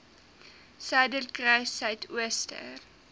suiderkruissuidooster